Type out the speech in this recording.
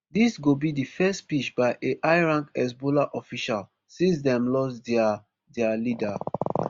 dis go be di first speech by a highrank hezbollah official since dem lost dia their leader